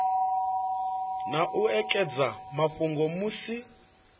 na u ekedza mafhungo musi